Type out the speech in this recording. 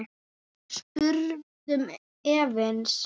spurðum við efins.